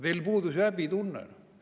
Teil puudus ju häbitunne!